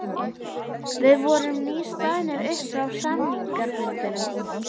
Við vorum nýstaðnir upp frá samningafundinum.